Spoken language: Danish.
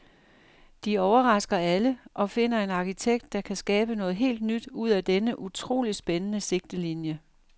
De overrasker alle og finder en arkitekt, der kan skabe noget helt nyt ud af denne utroligt spændende sigtelinje.